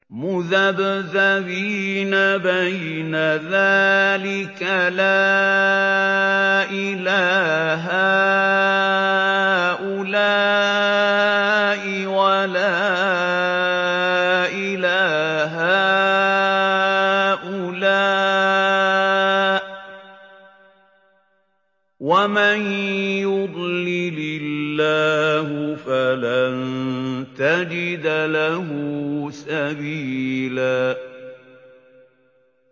مُّذَبْذَبِينَ بَيْنَ ذَٰلِكَ لَا إِلَىٰ هَٰؤُلَاءِ وَلَا إِلَىٰ هَٰؤُلَاءِ ۚ وَمَن يُضْلِلِ اللَّهُ فَلَن تَجِدَ لَهُ سَبِيلًا